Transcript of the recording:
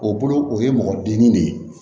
O bolo o ye mɔgɔ dimi de ye